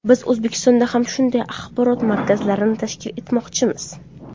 Biz O‘zbekistonda ham shunday axborot markazlarini tashkil etmoqchimiz.